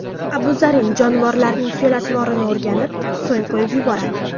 Abu Zarin jonivorlarning fe’l-atvorini o‘rganib, so‘ng qo‘yib yuboradi.